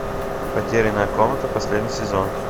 потерянная комната последний сезон